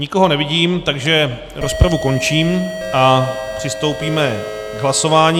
Nikoho nevidím, takže rozpravu končím a přistoupíme k hlasování.